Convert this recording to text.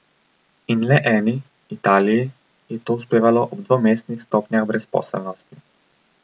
In le eni, Italiji, je to uspevalo ob dvomestnih stopnjah brezposelnosti.